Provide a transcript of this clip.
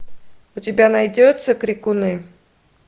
у тебя найдется крикуны